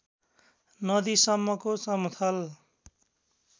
नदी सम्मको समथल